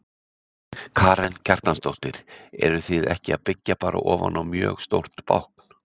Karen Kjartansdóttir: En eruð þið ekki að byggja bara ofan á mjög stórt bákn?